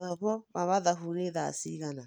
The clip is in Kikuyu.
Mathomo ma mathabũ nĩ thaa cĩgana